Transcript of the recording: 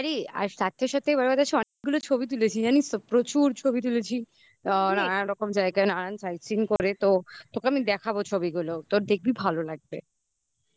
আরে তার সাথে সাথে এবার আমাদের অনেকগুলো ছবি তুলেছি জানিস তো প্রচুর ছবি তুলেছি নানান রকম জায়গায় নানা রকম side seen করে তো তোকে আমি দেখাবো ছবিগুলো. তো দেখবি ভালো লাগবে